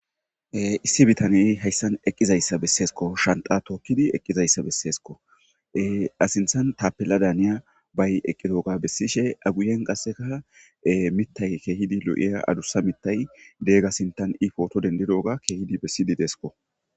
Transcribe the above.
issi bitaney hayssan eqqizayssa besseesko shanxa tookkidi eqqizayssa besseesko ha sinthan tapella daaniya bay eqqidoga bessishe aguyen qasseka mitay keehidi lo7iya adussa mitay deega sintan i footo dendidoga keehidi bessidi deesko